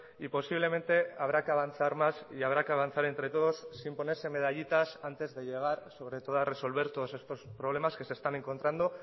y posiblemente habrá que avanzar más y habrá que avanzar entre todos sin ponerse medallitas antes de llegar sobre todo a resolver todos estos problemas que se están encontrando